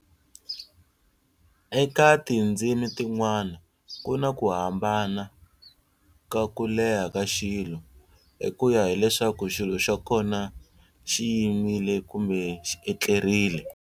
Eka tinzimi tin'wana ku na ku hambana ka kuleha ka xilo, hi kuya hi leswaku xilo xa kona xi yimile kumbe xi etlerile.